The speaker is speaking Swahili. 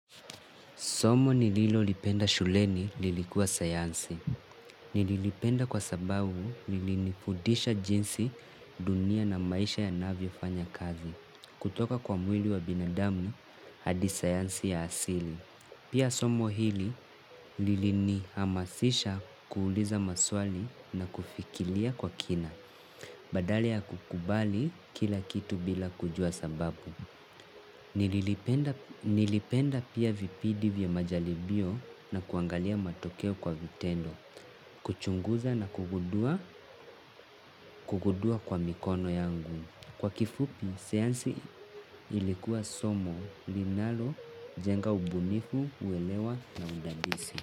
Somo nililo lipenda shuleni lilikuwa sayansi. Nililipenda kwa sababu linifudisha jinsi dunia na maisha yanavyo fanya kazi. Kutoka kwa mwili wa binadamu hadi sayansi ya asili pia somo hili lilini hamasisha kuuliza maswali na kufikilia kwa kina. Badala ya kukubali kila kitu bila kujua sababu. Nilipenda pia vipidi vya majalibio na kuangalia matokeo kwa vitendo. Kuchunguza na kugundua kwa mikono yangu. Kwa kifupi, sayansi ilikuwa somo, linalo, jenga ubunifu, uelewa na udadisi.